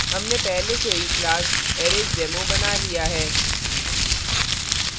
हमने पहले से ही class arraysdemo बना दिया है